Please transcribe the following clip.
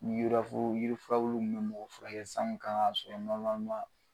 Yirafuru yirifurabulu kun be mɔgɔ furakɛ san kun kan ŋ'a sɔrɔ